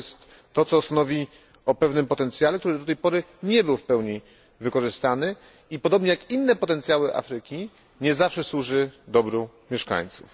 To jest to, co stanowi o pewnym potencjale, który do tej pory nie był w pełni wykorzystany i podobnie jak inne potencjały Afryki nie zawsze służy dobru mieszkańców.